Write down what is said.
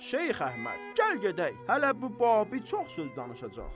Şeyx Əhməd, gəl gedək, hələ bu babı çox söz danışacaq.